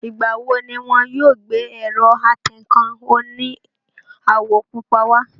Ìgbà wo ni wọn yóò gbé ẹ̀rọ atẹǹkan oní àwọ̀ púpọ̀ wá?